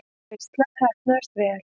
Veislan heppnaðist vel.